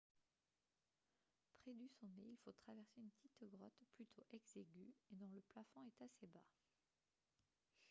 près du sommet il faut traverser une petite grotte plutôt exiguë et dont le plafond est assez bas